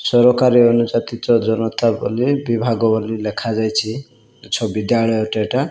ସରକାରୀ ଅନୁଯାତି ଜନତା ବୋଲି ବିଭାଗ ବୋଲି ଲେଖା ଯାଇଛି। ତ ବିଦ୍ୟାଳୟ ଟି ଏଇଟା --